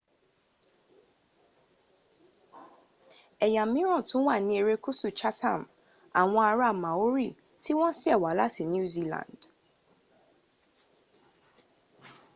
èyà míràn tún wà ní ẹrékùsù chatham àwon ara´ maori tí won sèwá láti new zealand